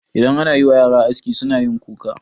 Idan anayiwa yara aski sunayin kuka.